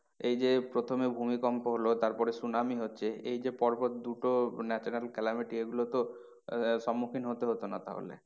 এই যে প্রথমে ভূমিকম্প হলো তারপরে সুনামি হচ্ছে এ যে পর পর দুটো natural calamity এইগুলো তো আহ সম্মুখীন হতে হট না তাহলে।